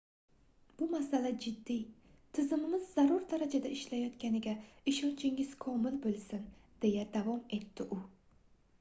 bu masala jiddiy tizimimiz zarur darajada ishlayotganiga ishonchingiz komil boʻlsin deya davom etdi u